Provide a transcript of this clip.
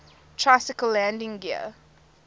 tricycle landing gear